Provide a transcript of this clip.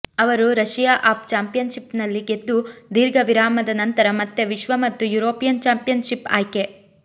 ಅವರು Russia of ಚಾಂಪಿಯನ್ಷಿಪ್ನಲ್ಲಿ ಗೆದ್ದು ದೀರ್ಘ ವಿರಾಮದ ನಂತರ ಮತ್ತೆ ವಿಶ್ವ ಮತ್ತು ಯುರೋಪಿಯನ್ ಚಾಂಪಿಯನ್ಶಿಪ್ ಆಯ್ಕೆ